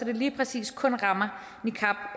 det lige præcis kun rammer